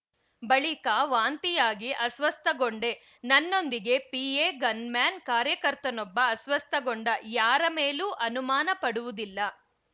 ಬಳಿಕ ವಾಂತಿಯಾಗಿ ಅಸ್ವಸ್ಥಗೊಂಡೆ ನನ್ನೊಂದಿಗೆ ಪಿಎ ಗನ್‌ಮ್ಯಾನ್‌ ಕಾರ್ಯಕರ್ತನೊಬ್ಬ ಅಸ್ವಸ್ಥಗೊಂಡ ಯಾರ ಮೇಲೂ ಅನುಮಾನ ಪಡುವುದಿಲ್ಲ